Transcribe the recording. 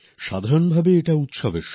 সাধারনভাবে এই সময়টা উৎসবের